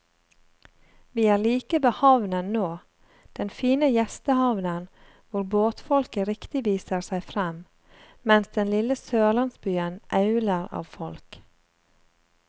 Vi er like ved havnen nå, den fine gjestehavnen hvor båtfolket riktig viser seg frem, mens den lille sørlandsbyen auler av folk.